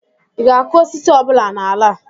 ị ga-akụ osisi ọ bụla n'ala a?